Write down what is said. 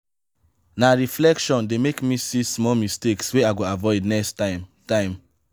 na reflection dey make me see small mistakes wey i go avoid next time. time.